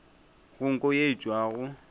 go nko ye e tšwago